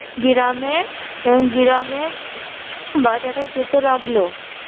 গিরামে গিরামে বাজারে যেতে লাগলো।